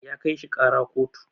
ya kai shi kara kotu